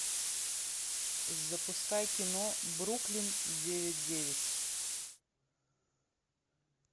запускай кино бруклин девять девять